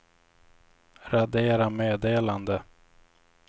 radera meddelande